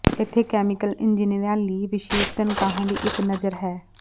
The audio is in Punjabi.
ਇੱਥੇ ਕੈਮੀਕਲ ਇੰਜੀਨੀਅਰਾਂ ਲਈ ਵਿਸ਼ੇਸ਼ ਤਨਖਾਹਾਂ ਦੀ ਇਕ ਨਜ਼ਰ ਹੈ